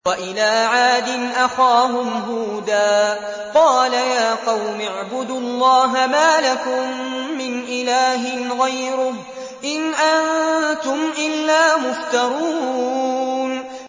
وَإِلَىٰ عَادٍ أَخَاهُمْ هُودًا ۚ قَالَ يَا قَوْمِ اعْبُدُوا اللَّهَ مَا لَكُم مِّنْ إِلَٰهٍ غَيْرُهُ ۖ إِنْ أَنتُمْ إِلَّا مُفْتَرُونَ